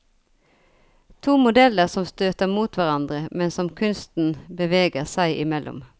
To modeller som støter mot hverandre, men som kunsten beveger seg imellom.